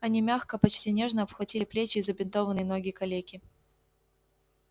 они мягко почти нежно обхватили плечи и забинтованные ноги калеки